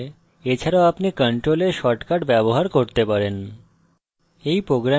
অন্যথায় এছাড়াও আপনি control s shortcut ব্যবহার করতে পারেন